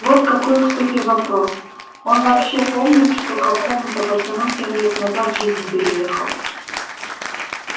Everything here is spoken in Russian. вот какой к суке вопрос он вообще помнит что какому-то пацану семь лет назад жизнь переехал